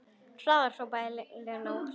Hraðar, hrópar Lena og hlær.